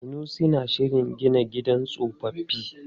Sanusi na shirin gina gidan tsofaffi.